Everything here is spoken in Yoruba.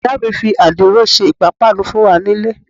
Ìyá mi fi adiro ṣe ipapanu fún wá nílé.